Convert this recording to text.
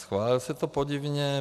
Schválilo se to podivně.